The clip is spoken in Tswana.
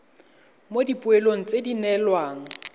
mo dipoelong tse di neelwang